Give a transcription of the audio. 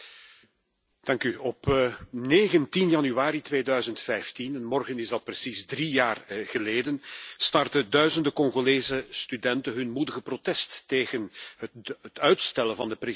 Op 19 januari 2015, morgen precies drie jaar geleden, startten duizenden Congolese studenten hun moedige protest tegen het uitstellen van de presidentsverkiezingen.